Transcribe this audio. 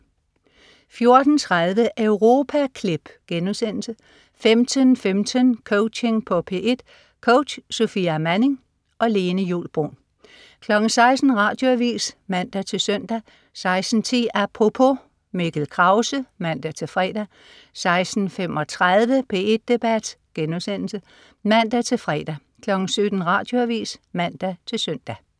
14.30 Europaklip* 15.15 Coaching på P1. Coach: Sofia Manning. Lene Juul Bruun 16.00 Radioavis (man-søn) 16.10 Apropos. Mikkel Krause (man-fre) 16.35 P1 Debat* (man-fre) 17.00 Radioavis (man-søn)